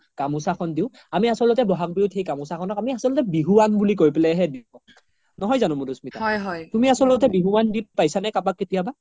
গামোচা খন দিও আমি আচলতে বহাগ বিহুত সেই গামোচা খনক আচল্তে বিহুৱান বুলি কই পেলে হে দিও নহয় জানো মাধুস্মিতা তুমি আচলতে বিহুৱান কাবাক দি পাইছা নে কেতিয়াবা